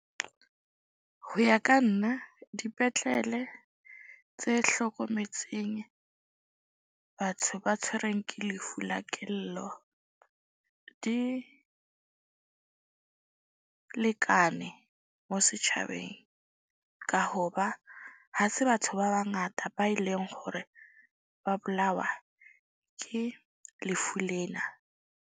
Ho ya ka nna dipetlele tse hlokometseng batho ba tshwerweng ke lefu la kelello, di lekane mo setjhabeng. Ka ho ba ha se batho ba bangata ba e leng hore ba bolawa ke lefu lena.